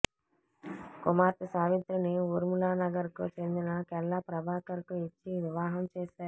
కుమార్తె సావిత్రిని ఊర్మిళానగర్ కు చెందిన కెల్లా ప్రభాకర్ కు ఇచ్చి వివాహం చేశారు